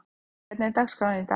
Júlli, hvernig er dagskráin í dag?